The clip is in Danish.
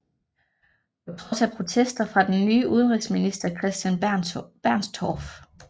På trods af protester fra den nye udenrigsminister Christian Bernstorff